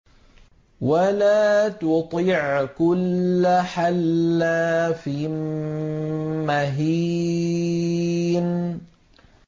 وَلَا تُطِعْ كُلَّ حَلَّافٍ مَّهِينٍ